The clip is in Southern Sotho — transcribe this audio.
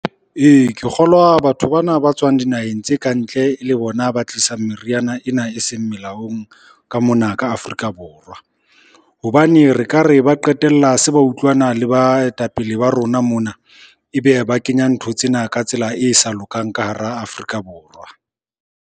Ee, ke kgolwa batho bana ba tswang dinaheng tse kantle e le bona ba tlisang meriana ena eseng melaong ka mona ka Afrika Borwa. Hobane re ka re ba qetella se ba utlwana le baetapele ba rona mona, ebe ba kenya ntho tsena ka tsela e sa lokang ka hara Afrika Borwa.